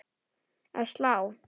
Að slá?